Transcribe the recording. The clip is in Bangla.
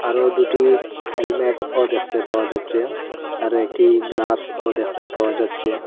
আরও দুটি হেলমেটও দেখতে পাওয়া যাচ্চে আর একটি গ্লাসও দেখতে পাওয়া যাচ্চে।